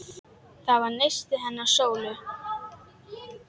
Það var nistið hennar Sólu.